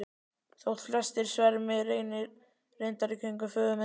Þótt flestir svermi reyndar í kringum föður minn.